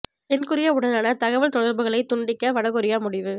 தென் கொரியாவுடனான தகவல் தொடர்புகளை துண்டிக்க வடகொரியா முடிவு